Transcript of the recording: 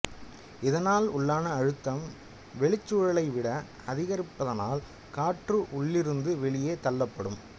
இதனால் உள்ளான அழுத்தம் வெளிச்சூழலை விட அதிகரிப்பதனால் காற்று உள்ளிருந்து வெளியே தள்ளப்படும்